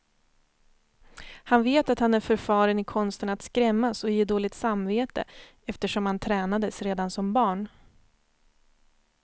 Han vet att han är förfaren i konsten att skrämmas och ge dåligt samvete, eftersom han tränades redan som barn.